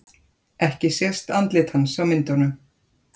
Ekki sést andlit hans á myndunum